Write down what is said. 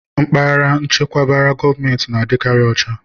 Mpaghara echekwabara gọọmentị na-adịkarị ucha.